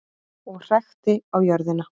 Og hrækti á jörðina.